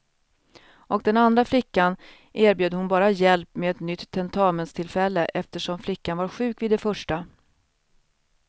Och den andra flickan erbjöd hon bara hjälp med ett nytt tentamenstillfälle eftersom flickan var sjuk vid det första.